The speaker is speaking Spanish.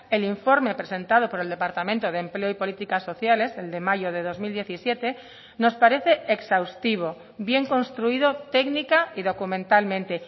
el informe presentado por el departamento de empleo y políticas sociales el de mayo de dos mil diecisiete nos parece exhaustivo bien construido técnica y documentalmente